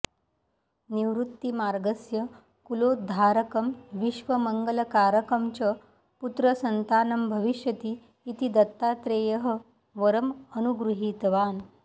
निवृत्तिमार्गस्य कुलोद्धारकं विश्वमङ्गलकारकं च पुत्रसन्तानं भविष्यति इति दत्तात्रेयः वरम् अनुगृहीतवान्